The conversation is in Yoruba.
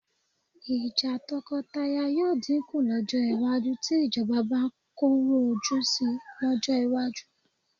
Ìjà tọkọtaya yóò dínkù lọ́jọ́ iwájú tí ìjọba bá korò ojú sí lọ́jọ́ iwájú